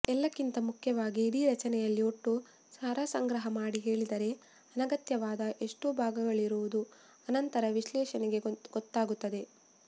ಎಲ್ಲಕ್ಕಿಂತ ಮುಖ್ಯವಾಗಿ ಇಡೀ ರಚನೆಯಲ್ಲಿ ಒಟ್ಟು ಸಾರಸಂಗ್ರಹ ಮಾಡಿ ಹೇಳಿದರೆ ಅನಗತ್ಯವಾದ ಎಷ್ಟೋ ಭಾಗಗಳಿರುವುದು ಅನಂತರ ವಿಶ್ಲೇಷಣೆಗೆ ಗೊತ್ತಾಗುತ್ತದೆ